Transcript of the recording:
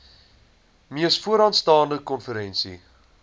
mees vooraanstaande konferensie